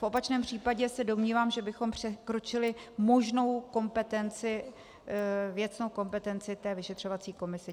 V opačném případě se domnívám, že bychom překročili možnou kompetenci, věcnou kompetenci té vyšetřovací komise.